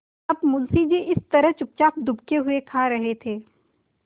अब मुंशी जी इस तरह चुपचाप दुबके हुए खा रहे थे